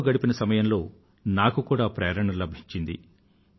వారితో గడిపిన సమయంలో నాకు కూడా ప్రేరణ లభించింది